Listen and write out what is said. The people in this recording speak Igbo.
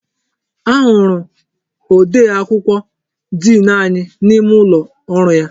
Ahụrụ odee akwụkwọ diin anyị n'ime ụlọ ọrụ ya.